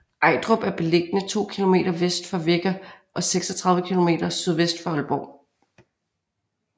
Ejdrup er beliggende to kilometer vest for Vegger og 36 kilometer sydvest for Aalborg